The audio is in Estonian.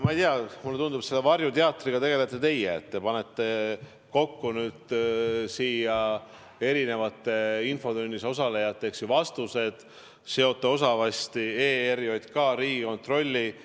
Ma ei tea, mulle tundub, et selle varjuteatriga tegelete teie, te panete kokku erinevate infotunnis osalejate vastused, seote osavasti ERJK ja Riigikontrolli.